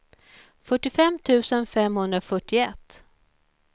fyrtiofem tusen femhundrafyrtioett